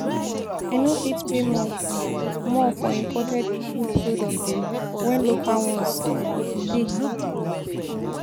I no fit pay more more for imported food products wen local ones um dey. um